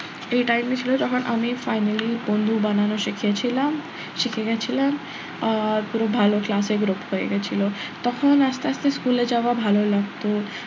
এই time ছিল যখন আমি finally বন্ধু বানানো শিখেছিলাম শিখে গেছিলাম আহ পুরো ভালো class এ group হয়ে গেছিল তখন আস্তে আস্তে school এ যাওয়া ভালো লাগতো,